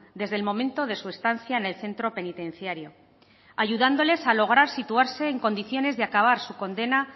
desde el momento de su estancia en el centro penitenciario ayudándoles a lograr situarse en condiciones de acabar su condena